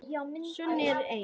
Svo er ei.